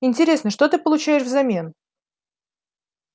интересно что ты получаешь взамен